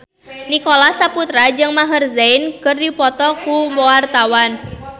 Nicholas Saputra jeung Maher Zein keur dipoto ku wartawan